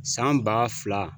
San ba fila.